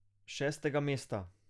Šestega mesta.